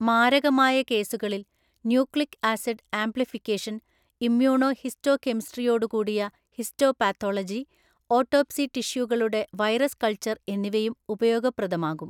മാരകമായ കേസുകളിൽ, nucleic acid amplification, ഇമ്മ്യൂണോഹിസ്റ്റോകെമിസ്ട്രിയോടുകൂടിയ ഹിസ്റ്റോപഥോളജി, ഓട്ടോപ്സി ടിഷ്യൂകളുടെ വൈറസ് കൾച്ചർ എന്നിവയും ഉപയോഗപ്രദമാകും.